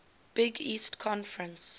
big east conference